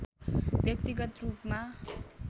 व्यक्तिगत रूपमा